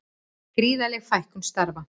Gríðarleg fækkun starfa